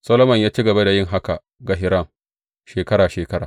Solomon ya ci gaba da yin haka ga Hiram, shekara shekara.